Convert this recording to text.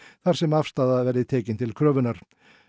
þar sem afstaða verði tekin til kröfu hans